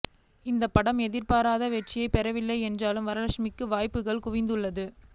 இந்த படம் எதிர்பார்த்த வெற்றியை பெறவில்லை என்றாலும் வரலட்சுமிக்கு வாய்ப்புகள் குவிந்தது